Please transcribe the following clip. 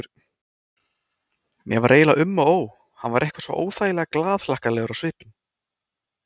Mér var eiginlega um og ó, hann var eitthvað svo óþægilega glaðhlakkalegur á svipinn.